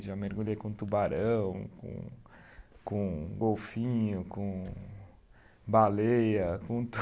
Já mergulhei com tubarão, com com golfinho, com baleia, com